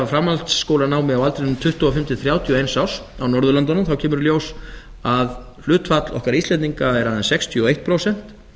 framhaldsskólanámi á aldrinum tuttugu og fimm til þrjátíu og eins árs á norðurlöndunum þá kemur í ljós að hlutfall okkar íslendinga er aðeins sextíu og eitt prósent